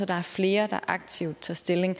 der er flere der aktivt tager stilling